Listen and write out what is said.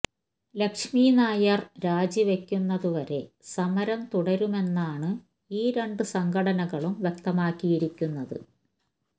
ലക്ഷ്മി നായർ രാജിവയ്ക്കുന്നതുവരെ സമരം തുടരുമെന്നാണ് ഈ രണ്ടു സംഘനടകളും വ്യക്തമാക്കിയിരിക്കുന്നത്